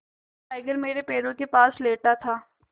tiger मेरे पैरों के पास लेटा था